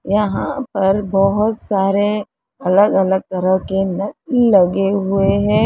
यहां पर बोहोत सारे अलग अलग तरह के न नल लगे हुए हैं।